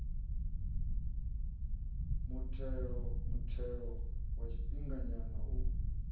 muthelo muthelo wa tshifhinganyana u